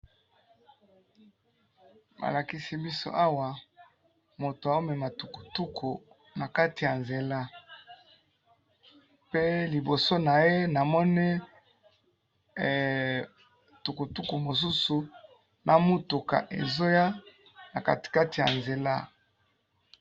Na moni mutu azali ko tambusa tukutuku na kati ya nzela na mutuka moko na tukutuku bazo ya liboso na ye.